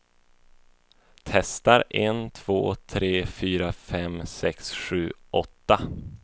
Testar en två tre fyra fem sex sju åtta.